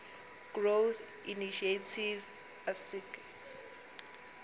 growth initiative asgisa